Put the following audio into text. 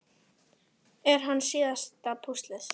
Er hann síðasta púslið?